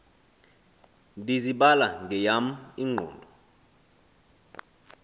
ndizibala ngeyam ingqondo